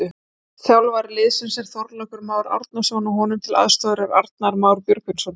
Þjálfari liðsins er Þorlákur Már Árnason og honum til aðstoðar er Arnar Már Björgvinsson.